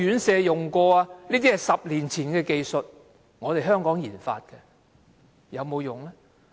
這是10年前的技術，是香港研發的，但有沒有用？